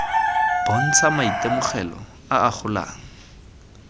bontsha maitemogelo a a golang